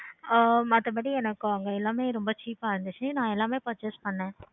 ஆஹ் மத்தபடி எனக்கு அங்க எல்லாமே ரொம்ப cheap ஆஹ் இருந்துச்சி நான் எல்லாமே purchase பண்ணேன்.